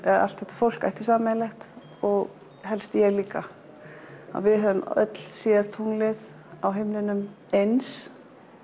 allt þetta fólk ætti sameiginlegt og helst ég líka við höfum öll séð tunglið á himninum eins